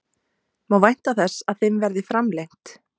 Má vænta þess að þeim verði framlengt?